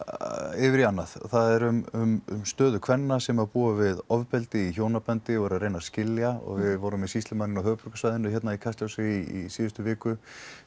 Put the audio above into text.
yfir í annað það er um stöðu kvenna sem búa við ofbeldi í hjónabandi og eru að reyna að skilja og við vorum með sýslumanninn á höfuðborgarsvæðinu hérna í Kastljósi í síðustu viku